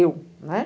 Eu, né?